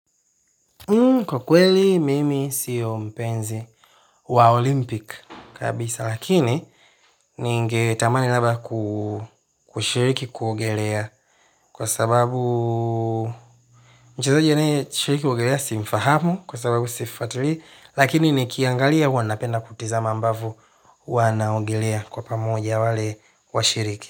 Kwa kweli, mimi sio mpenzi wa Olympic kabisa, lakini ningetamani labda kushiriki kuogelea kwa sababu mchezaji anayeshiriki kuogelea si mfahamu kwa sababu sifatilii, lakini nikiangalia huwa napenda kutizama ambavo wanaogelea kwa pamoja wale washiriki.